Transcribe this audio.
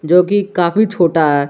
जो कि काफी छोटा है।